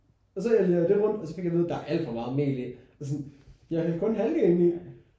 Og så æltede jeg lidt rundt og så fik jeg at vide der er alt for meget mel i og sådan jeg hældte kun halvdelen af mel i